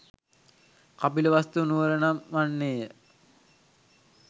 කපිලවස්තු නුවර නම් වන්නේ ය.